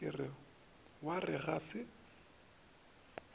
ke wa re ga se